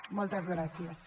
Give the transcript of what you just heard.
moltes gràcies